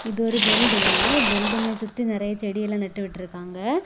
இது ஒரு building building சுத்தி நிறைய செடிகளை நட்டு விட்டு இருக்காங்க.